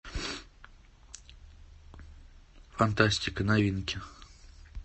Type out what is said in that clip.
фантастика новинки